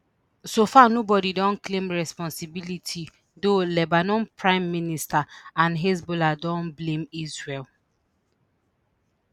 so far nobody don claim responsibility though lebanon prime minister and hezbollah don blame israel